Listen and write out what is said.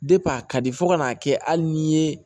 a ka di fo ka n'a kɛ hali ni ye